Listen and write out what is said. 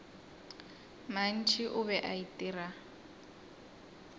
mantši o be a itira